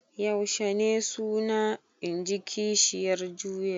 Yaushe suna? in ji kishiyar juya.